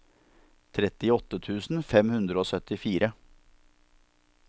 trettiåtte tusen fem hundre og syttifire